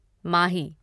माही